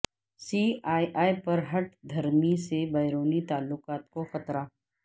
C A A پر ہٹ دھرمی سے بیرونی تعلقات کو خطرہ